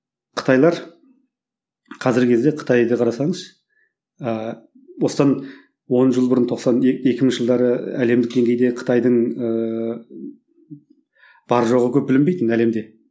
қытайлар қазіргі кезде қытайды қарасаңыз ыыы осыдан он жыл бұрын тоқсан екінші жылдары әлемдік деңгейде қытайдың ыыы бар жоғы көп білінбейтін әлемде